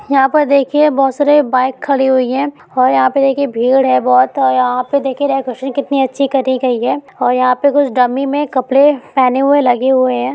यहाँ पर देखिए बहुत सारी बाइक खड़ी हुई है और यहाँ पर भीड़ है बहुत और यहाँ पर देखिये कटी गई है और यहाँ पर कुछ डमी मे कपड़े पहने हुए लगे हुए है ।